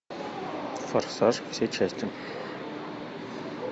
форсаж все части